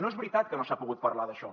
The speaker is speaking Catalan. no és veritat que no s’ha pogut parlar d’això